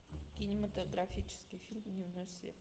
кинематографический фильм дневной свет